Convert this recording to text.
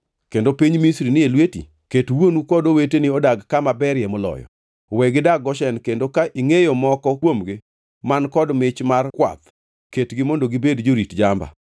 kendo piny Misri ni e lweti, ket wuonu kod oweteni odag kama berie moloyo. We gidag Goshen kendo ka ingʼeyo moko kuomgi man kod mich mar kwath ketgi mondo gibed jorit jamba.”